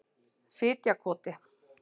Fitjakoti